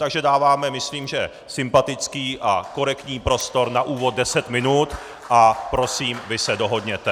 Takže dáváme myslím že sympatický a korektní prostor na úvod deset minut a prosím, vy se dohodněte.